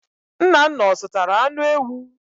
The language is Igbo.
Nnanna ọ zụtara anụ ewu?